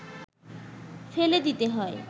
ফেলে দিতে হয়